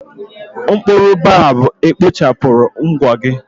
Mkpụrụ boabab ekpochapụrụ ụgwọ gị?